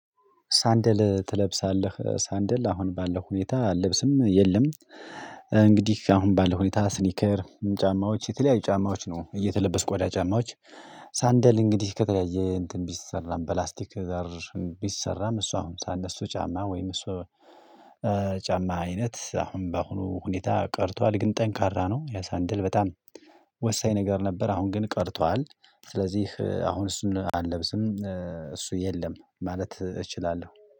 ሳንደል ትለብሳለህ ሳንደል አሁን ባለው ሁኔታ አልለብስም የለም። እንግዲህ አሁን ባለው ሁኔታ ስኒከር ጫማዎች የተለያዩ ጫማዎች ነው እየተለበስኩ ቆዳ ጫማዎች። ሳንደል እንግዲህ ከተለያየ እንትን ቢሰራም በላስቲክ ዘር ቢሰራም እሷ አሁን ሳነሱ ጫማ ወይም እሷ ጫማ አይነት አሁን በአሁኑ ሁኔታ ቀርቷል ግን ጠንካራ ነው የሳንደል በጣም ወሳኝ ነገር ነበር። አሁን ግን ቀርቷል ስለዚህ አሁን እሱን አልለብስም እሱ የለም ማለት እችላለሁ